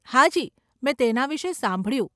હાજી, મેં તેના વિષે સાંભળ્યું.